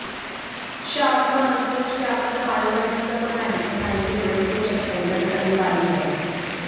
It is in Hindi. शावना अंतरिक्ष जाकर बायो मेडिसिन और मेडिकल साइंस से जुड़े कुछ एक्सपेरिमेंट करने वाली हैं